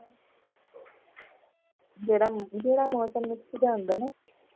ਜਿਹੜਾ ਮੌਸਮ mix ਜਿਹਾ ਹੁੰਦਾ ਹੈ ਨਾ